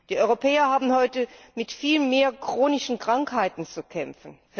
Die Europäer haben heute mit viel mehr chronischen Krankheiten zu kämpfen.